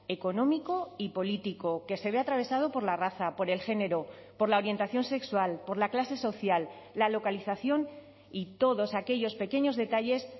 económico y político que se ve atravesado por la raza por el género por la orientación sexual por la clase social la localización y todos aquellos pequeños detalles